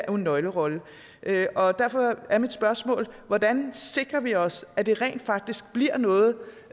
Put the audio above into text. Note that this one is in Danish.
en nøglerolle og derfor er mit spørgsmål hvordan sikrer vi os at det rent faktisk bliver noget